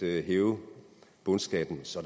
hæve bundskatten så